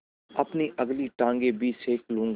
अपनी अगली टाँगें भी सेक लूँगा